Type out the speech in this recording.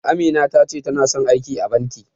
Amina ta ce tana son aiki a banki.